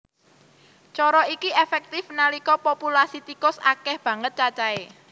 Cara iki éféktif nalika populasi tikus akéh banget cacahé